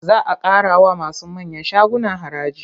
Za a ƙarawa masu manyan shaguna haraji.